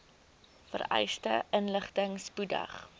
vereiste inligting spoedig